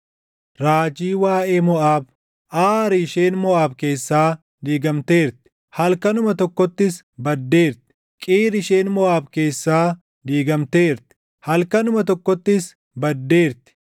Raajii waaʼee Moʼaab: Aari isheen Moʼaab keessaa diigamteerti; halkanuma tokkottis baddeerti! Qiir isheen Moʼaab keessaa diigamteerti; halkanuma tokkottis baddeerti!